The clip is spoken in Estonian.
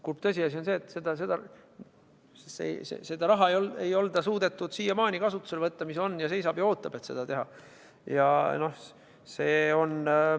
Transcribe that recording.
Kurb tõsiasi on see, et seda raha ei ole suudetud siiamaani kasutusele võtta – see on ning seisab ja ootab, et seda tehakse.